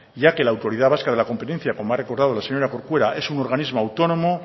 ya que la autoridad vasca de la competencia como ha recordado la señora corcuera es un organismo autónomo